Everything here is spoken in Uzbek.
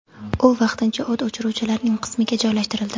U vaqtincha o‘t o‘chiruvchilarning qismiga joylashtirildi.